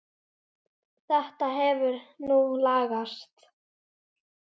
Þetta hefur nú lagast.